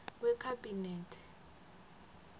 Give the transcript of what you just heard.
wekhabinethe